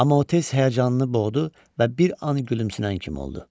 Amma o tez həyəcanını boğdu və bir an gülümsünən kimi oldu.